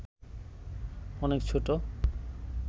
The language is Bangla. অনেক ছোট